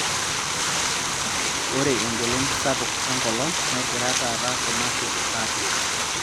Ore engolon sapuk enkolong' negira taata kuna shot aatum.